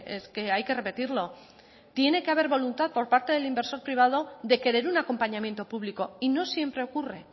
es que hay que repetirlo tiene que haber voluntad por parte del inversor privado de querer un acompañamiento público y no siempre ocurre